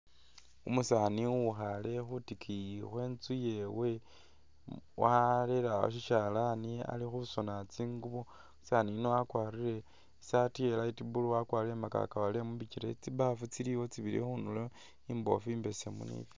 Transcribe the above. Umusaani uwukhe khutikiyi khwenzu yewe warele awo shi shalani ali khusona tsingubo, umusani uyu wakwarire i saati iya light blue wakwarire mugagawale mubikyele tsibafu tsili awo tsibili khundulo imbofu imbesemu ni.